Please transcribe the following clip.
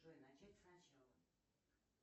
джой начать с начала